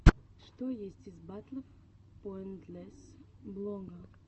что есть из батлов поинтлесс блога